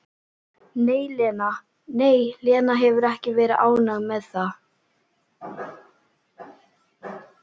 Nei, Lena hefur ekki verið ánægð með það.